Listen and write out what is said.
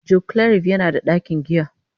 Joclarif yana da ɗakin giya.